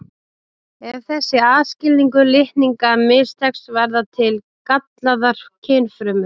Ef þessi aðskilnaður litninga mistekst verða til gallaðar kynfrumur.